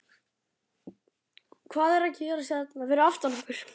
Hvað er að gerast hérna fyrir aftan okkur?